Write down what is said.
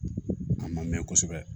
A ma mɛn kosɛbɛ